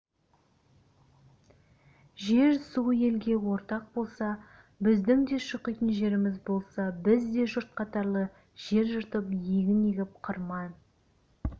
жер-су елге ортақ болса біздің де шұқитын жеріміз болса біз де жұрт қатарлы жер жыртып егін егіп қырман